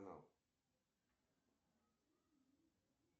джой банкоматы карта